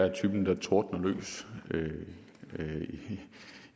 at de tordner ud